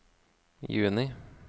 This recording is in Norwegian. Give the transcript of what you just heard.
juni